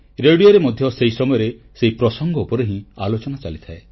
ରେଡ଼ିଓରେ ମଧ୍ୟ ସେହି ସମୟରେ ସେହି ପ୍ରସଙ୍ଗ ଉପରେ ହିଁ ଆଲୋଚନା ଚାଲିଥାଏ